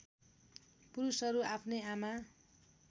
पुरुषहरू आफ्नै आमा